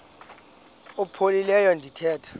umf ophaphileyo ndithanda